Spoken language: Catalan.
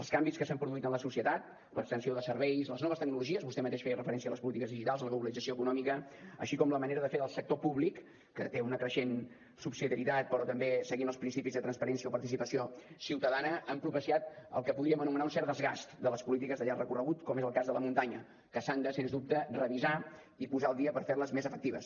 els canvis que s’han produït en la societat l’extensió de serveis les noves tecnologies vostè mateix feia referència a les polítiques digitals a la globalització econòmica així com la manera de fer del sector públic que té una creixent subsidiarietat però també seguint els principis de transparència o participació ciutadana han propiciat el que podríem anomenar un cert desgast de les polítiques de llarg recorregut com és el cas de la muntanya que s’han de sens dubte revisar i posar al dia per fer les més efectives